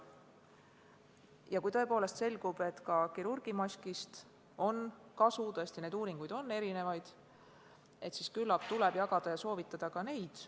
Ja kui tõepoolest selgub, et ka kirurgimaskist on kasu – tõesti, uuringuid on erinevaid –, siis küllap tuleb jagada ja soovitada ka neid.